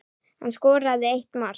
Hann skoraði eitt mark.